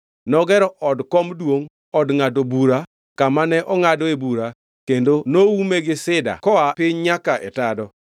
Nogero od kom duongʼ, Od ngʼado Bura kama ne ongʼadoe bura kendo noume gi sida koa piny nyaka e tado.